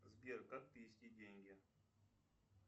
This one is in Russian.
сбер как перевести деньги